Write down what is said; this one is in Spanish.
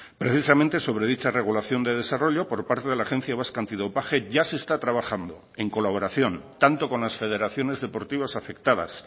precisamente sobre dicha regulación de desarrollo por parte de la agencia vasca antidopaje ya se está trabajando en colaboración tanto con las federaciones deportivas afectadas